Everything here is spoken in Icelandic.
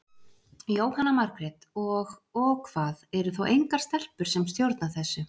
Jóhanna Margrét: Og, og hvað, eru þá engar stelpur sem stjórna þessu?